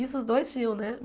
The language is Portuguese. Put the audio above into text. Isso os dois tinham, né?